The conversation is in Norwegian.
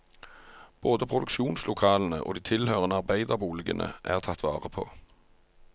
Både produksjonslokalene og de tilhørende arbeiderboligene er tatt vare på.